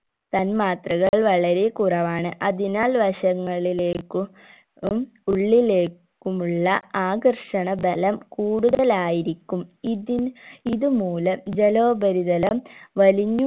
തന്മാത്രകൾ വളരെ കുറവാണ് അതിനാൽ വശങ്ങളിലേക്കും ഉം ഉള്ളിലേക്കുമുള്ള ആകർഷണ ഭലം കൂടുതലായിരിക്കും ഇതിൻ ഇത് മൂലം ജലോപരിതലം വലിഞ്ഞു